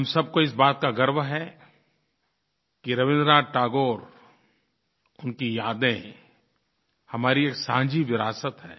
हम सबको इस बात का गर्व है कि रवीन्द्रनाथ टैगोर उनकी यादें हमारी एक साझी विरासत है